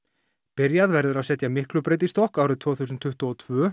byrjað verður að setja Miklubraut í stokk árið tvö þúsund tuttugu og tvö